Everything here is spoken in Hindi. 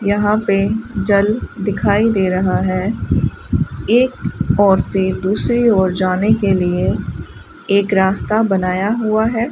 यहां पे जल दिखाई दे रहा हैं एक ओर से दूसरी ओर जाने के लिए एक रास्ता बनाया हुआ हैं।